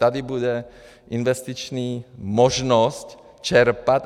Tady bude investiční možnost čerpat.